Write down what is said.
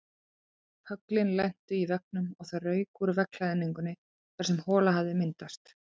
Höglin lentu í veggnum og það rauk úr veggklæðningunni þar sem hola hafði myndast.